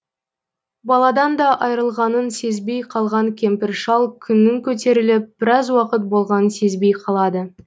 баладан да айырылғанын сезбей қалған кемпір шал күннің көтеріліп біраз уақыт болғанын сезбей қалады